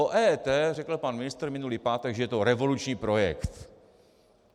O EET řekl pan ministr minulý pátek, že je to revoluční projekt.